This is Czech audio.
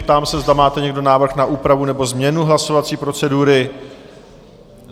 Ptám se, zda máte někdo návrh na úpravu nebo změnu hlasovací procedury?